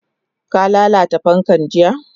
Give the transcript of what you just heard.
Ka lalata fankan jiya?